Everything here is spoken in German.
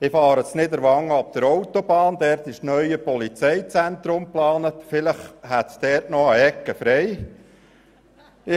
Wenn ich in Niederwangen aber Autobahn fahre, wo das neue Polizeizentrum geplant ist, frage ich mich, ob es dort vielleicht noch eine Ecke frei ist.